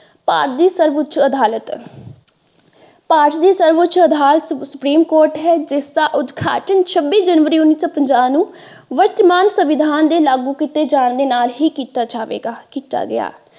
ਭਾਰਤ ਦੀ ਸਰਵ ਉੱਚ ਅਦਾਲਤ ਭਾਰਤ ਦੀ ਸਰਵ ਉੱਚ ਅਦਾਲਤ ਸੁਪਰੀਮ ਕੋਰਟ ਹੈ ਜਿਸ ਦਾ ਉਦਘਾਟਨ ਛੱਬੀ ਜਨਵਰੀ ਉੰਨੀ ਸੋ ਪੰਜਾਹ ਨੂੰ ਵਿੱਤਮਾਨ ਸੰਵਿਧਾਨ ਦੇ ਲਾਗੂ ਕੀਤੇ ਜਾਣ ਦੇ ਨਾਲ ਹੀ ਕੀਤਾ ਜਾਵੇਗਾ ਕੀਤਾ ਗਿਆ।